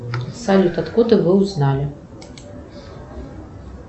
салют откуда вы узнали